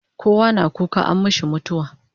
Kowa na kuka inyi mishi mutawa